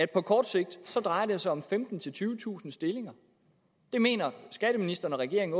på kort sigt drejer sig om femtentusind tyvetusind stillinger skatteministeren og regeringen